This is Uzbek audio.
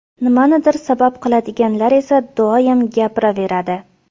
Nimanidir sabab qiladiganlar esa doim gapiraveradi.